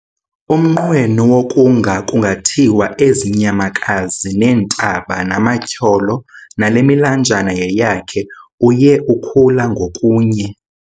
Umnqweno wokunga kungathiwa ezi nyamakazi, neentaba, namatyholo nale milanjana yeyakhe, uye ukhula ngokunye.